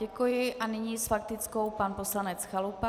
Děkuji a nyní s faktickou pan poslanec Chalupa.